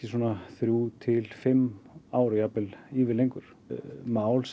þrjú til fimm ár jafnvel ívið lengur mál